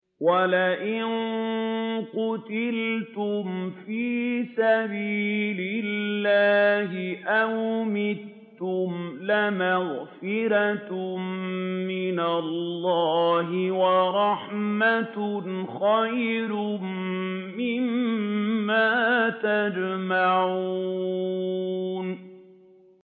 وَلَئِن قُتِلْتُمْ فِي سَبِيلِ اللَّهِ أَوْ مُتُّمْ لَمَغْفِرَةٌ مِّنَ اللَّهِ وَرَحْمَةٌ خَيْرٌ مِّمَّا يَجْمَعُونَ